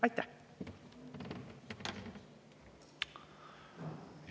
Aitäh!